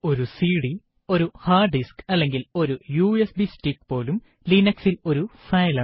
ഒരു സിഡി ഒരു hard disk അല്ലെങ്കിൽ ഒരു യുഎസ്ബി സ്റ്റിക്ക് പോലും Linux ൽ ഒരു ഫയൽ ആണ്